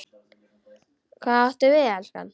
Hvað áttu við, elskan?